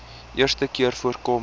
eerste keer voorkom